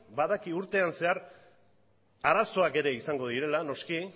badaki urtean zehar arazoak ere izango direla noski